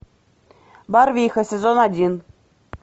барвиха сезон один